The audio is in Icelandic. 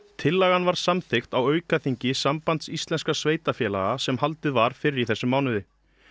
tillagan var samþykkt á aukaþingi Sambands íslenskra sveitarfélaga sem haldið var fyrr í þessum mánuði